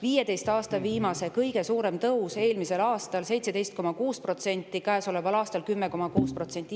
Viimase 15 aasta kõige suurem tõus oli eelmisel aastal, 17,6%, käesoleval aastal on see 10,6%.